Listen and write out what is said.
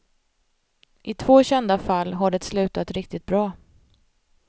I två kända fall har det slutat riktigt bra.